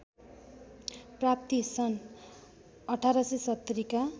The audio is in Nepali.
प्राप्ति सन् १८७० का